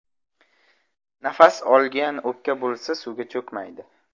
Nafas olgan o‘pka bo‘lsa suvga cho‘kmaydi.